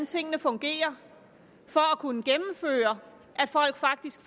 tingene fungerer for at kunne gennemføre at folk faktisk